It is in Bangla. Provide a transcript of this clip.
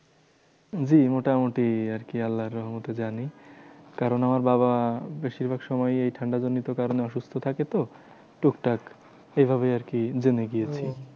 জি মোটামুটি আরকি আল্লার রহমতে জানি। কারণ আমার বাবা বেশিরভাগ সময়ই এই ঠান্ডা জনিত কারণে অসুস্থ থাকে তো। টুকটাক এইভাবেই আরকি জেনে গিয়েছি।